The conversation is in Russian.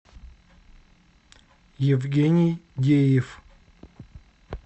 евгений геев